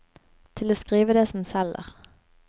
Til å skrive det som selger.